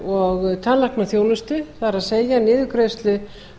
og tannlæknaþjónustu það er niðurgreiðslu